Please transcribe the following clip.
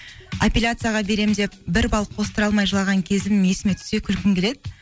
аппеляцияға беремін деп бір балл қостыра алмай жылаған кезім есіме түссе күлкім келеді